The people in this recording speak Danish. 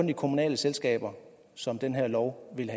de kommunale selskaber som den her lov vil